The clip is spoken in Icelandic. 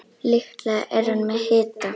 Líklega er hann með hita.